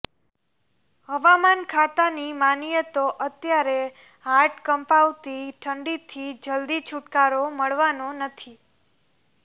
હવામાન ખાતાની માનીએ તો અત્યારે હાડ કંપાવતી ઠંડીથી જલ્દી છૂટકારો મળવાનો નથી